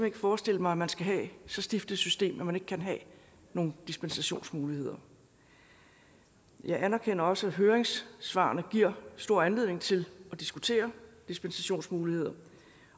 ikke forestille mig at man skal have så stift et system at man ikke kan have nogen dispensationsmuligheder jeg anerkender også at høringssvarene giver stor anledning til at diskutere dispensationsmuligheder